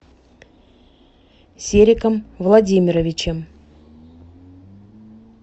сериком владимировичем